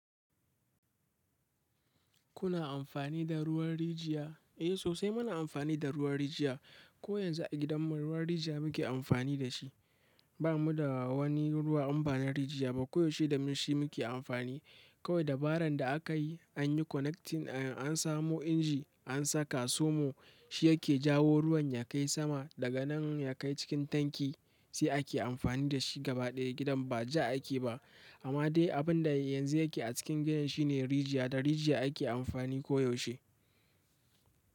Kuna amfani da ruwan rijiya? Eh sosai muna amfani da ruwan rijiya. Ko yanzu a gidan mu ruwan rijiya muke amfani da shi. Ba mu da wani ruwa in ba na rijiya ba. Koyaushe da shi muke amfani. Kawai dabarar da akayi shine ansamo inji ansaka inji somo. Shi yake jawo ruwan ya kai sama daga nan ya kai cikin tanki sai ake amfani da shi gaba ɗaya gidan baja ake ba. Amma dai abinda yake acikin gidan shine rijiya da rijiya ake amfani koyaushe.